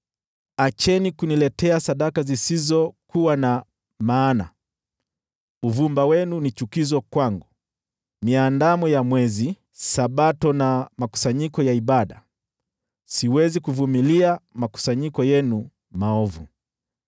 Acheni kuniletea sadaka zisizokuwa na maana! Uvumba wenu ni chukizo kwangu. Miandamo ya Mwezi, Sabato na makusanyiko ya ibada: siwezi kuvumilia makusanyiko yenu maovu.